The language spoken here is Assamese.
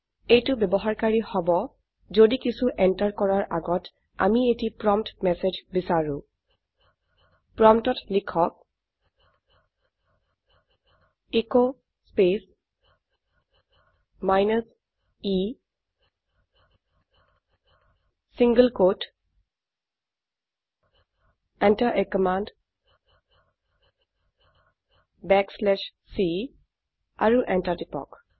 এইটো ব্যবহাৰকাৰী হব যদি কিছু এন্টাৰ কৰাৰ আগত আমি এটি প্ৰম্পট মেচেজ বিচাৰো প্ৰম্পটত লিখক S space minus e single quote t Enter a command backslash c আৰু এন্টাৰ টিপক